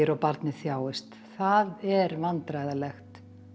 barnið þjáist það er vandræðalegt